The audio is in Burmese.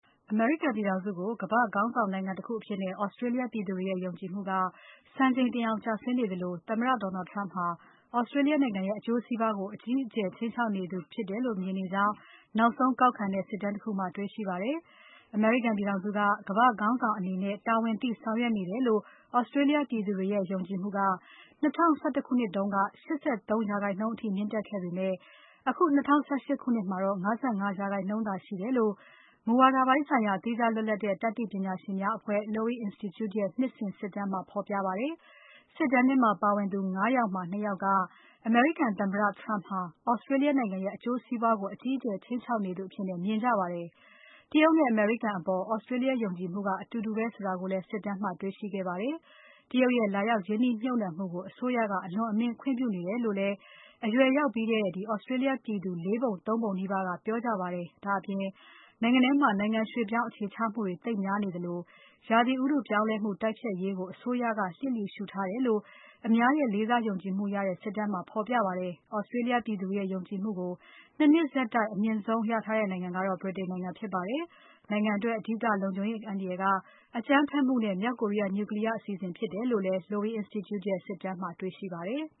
အမေရိကန်ပြည်ထောင်စုကို ကမ္ဘာ့ခေါင်းဆောင်နိုင်ငံတခုအဖြစ် Australia ပြည်သူတွေရဲ့ ယုံကြည်မှုက စံချိန်တင်အောင် ကျဆင်းနေသလို သမ္မတ Donald Trump ဟာ Australia နိုင်ငံရဲ့ အကျိုးစီးပွားကို အကြီးအကျယ် ခြိမ်းခြောက်နေသူဖြစ်တယ်လို့ မြင်နေကြကြောင်း နောက်ဆုံးကောက်ခံတဲ့ စစ်တမ်းတခုမှာ တွေ့ရှိခဲ့ပါတယ်။ အမေရိကန်ပြည်ထောင်စုအနေနဲ့ ကမ္ဘာ့ခေါင်းဆောင်အနေနဲ့ တာဝန်သိဆောင်ရွက်နေ တယ်လို့ Australia ပြည်သူတွေရဲ့ ယုံကြည်မှုက ၂၀၁၁ ခုနှစ်တုန်းက ၈၃ % အထိ မြင့် တက်ခဲ့ပေမဲ့ အခု၂၀၁၈ ခုနှစ်မှာ ၅၅% သာရှိတယ်လို့ မူဝါဒပိုင်းဆိုင်ရာ သီးခြား လွတ်လပ်တဲ့ တတ်သိပညာရှင်များအဖွဲ့ Lowy Institute ရဲ့ နှစ်စဉ်စစ်တမ်းမှာ ဖော်ပြပါတယ်။ စစ်တမ်းထဲမှာ ပါဝင်သူ ၅ ယောက်မှာ ၂ ယောက်က အမေရိကန်သမ္မတ Trump ဟာ Australia နိုင်ငံရဲ့ အကျိုးစီးပွားကို အကြီးအကျယ်ခြိမ်းခြောက်နေသူအဖြစ် မြင်ကြပါတယ်။ တရုတ်နဲ့ အမေရိကန်အပေါ် Australia ယုံကြည်မှုက အတူတူပဲဆိုတာကိုလည်း စစ်တမ်း မှာ တွေ့ရှိခဲ့ပါတယ်။ တရုတ်ရဲ့ လာရောက်ရင်းနှီးမြှုပ်နှံမှုကို အစိုးရက အလွန်အမင်း ခွင့်ပြုနေတယ်လို့လည်း အရွယ်ရောက်ပြီးတဲ့ Australia ပြည်သူ ၄ ပုံ ၃ ပုံနီးပါးက ပြောကြပါတယ်။ ဒါ့အပြင် နိုင်ငံထဲမှာ နိုင်ငံရွှေ့ပြောင်းအခြေချမှုတွေ သိပ်များနေသလို ရာသီဥတုပြောင်းလဲမှု တိုက်ဖျက်ရေးကို အစိုးရက လျှစ်လျှူရှုထားတယ်လို့ အများရဲ့ လေးစားယုံကြည်မှုရတဲ့ စစ်တမ်းမှာ ဖော်ပြပါတယ်။ Australia ပြည်သူတွေရဲ့ ယုံကြည်မှုကို ၂ နှစ်ဆက်တိုက် အမြင့်မားဆုံးရတဲ့ နိုင်ငံကတော့ ဗြိတိန်နိုင်ငံဖြစ်ပါတယ်။ နိုင်ငံအတွက် အဓိကလုံခြုံရေးအန္တရာယ်က အကြမ်းဖက်မှုနဲ့ မြောက်ကိုရီးယား Nuclear အစီအစဉ်ဖြစ်တယ်လို့လည်း Lowy Institute ရဲ့ စစ်တမ်းမှာတွေ့ရှိပါတယ်။